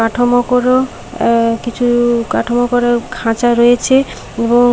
কাঠামো করো এ কিছু-উ কাঠামো করেও খাঁচা রয়েছে এবং--